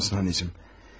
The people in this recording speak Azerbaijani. Bilirsinizmi, anacan?